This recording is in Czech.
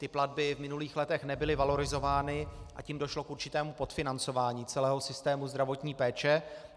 Ty platby v minulých letech nebyly valorizovány, a tím došlo k určitému podfinancování celého systému zdravotní péče.